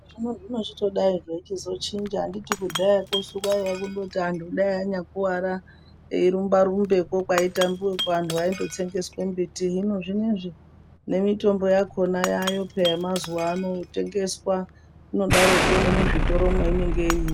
Zvino zvazvino chitodai zveitochinja anditi kudhaya kwosu kwaiya kundoti dai antu anyakuwara eirumba rumbakwo kweitambiwakwo antu aindotsengeswa mbiti . Hino zvinezvi nemitombo yakona yaayo peya yemazuwa ano yotengeswa inodaroko nemuzvitoro mwainenge iri.